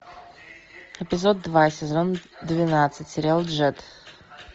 эпизод два сезон двенадцать сериал джетт